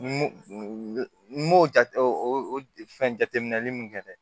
N m'o jate o fɛn jateminɛli mun kɛ dɛ